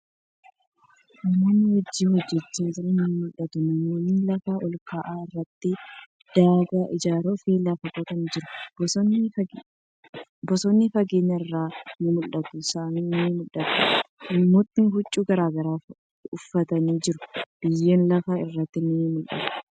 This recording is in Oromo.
Namootni hojii hojjachaa jiran ni mul'atu. Namootni lafa olka'aa irratti daagaa ijaaruf lafa qotaa jiru. Bosonni fageenya irraa ni mul'ata. Samiin ni mul'ata. Namootni huccuu garagaraa uffatanii jiru. Biyyeen lafa irratti ni mul'ata.